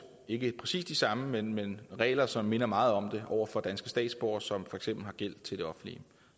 ikke præcis de samme regler men regler som minder meget om dem over for danske statsborgere som for eksempel har gæld til det offentlige